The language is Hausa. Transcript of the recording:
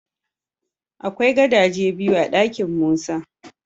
Akwai gadaje biyu a dakin Musa.